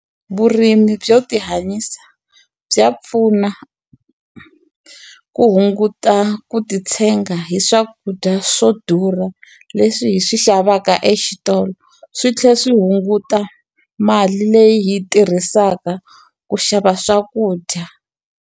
Vurimi byo ti hanyisa bya pfuna, ku hunguta ku titshega hi swakudya swo durha leswi hi swi xavaka exitolo. Swi tlhela swi hunguta mali leyi hi yi tirhisaka ku xava swakudya.